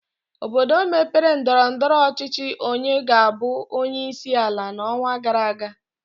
Obodo mere ndọrọndọrọ ọchịchị onye ga-abụ onyeisi ala n'ọnwa gara aga